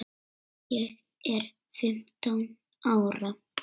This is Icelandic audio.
Ég er fimmtán ára.